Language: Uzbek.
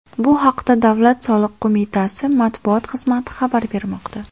Bu haqda Davlat soliq qo‘mitasi matbuot xizmati xabar bermoqda .